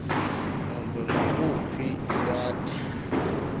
nobe nguluphi lwati